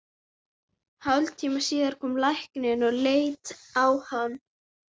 Hálftíma síðar kom læknir að líta á hann.